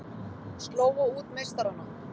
Slógu út meistarana